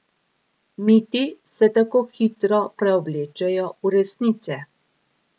Miti se tako hitro preoblečejo v resnice!